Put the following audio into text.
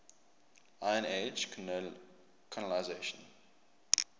iron age colonisation